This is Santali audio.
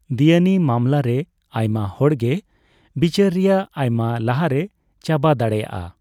ᱫᱮᱭᱟᱱᱤ ᱢᱟᱢᱞᱟᱨᱮ ᱟᱭᱢᱟ ᱦᱚᱲᱜᱮ ᱵᱤᱪᱟᱹᱨ ᱨᱮᱭᱟᱜ ᱟᱭᱢᱟ ᱞᱟᱦᱟᱸᱨᱮ ᱪᱟᱵᱟ ᱫᱟᱲᱮᱭᱟᱜᱼᱟ ᱾